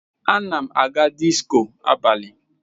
Ana m aga disko abalị.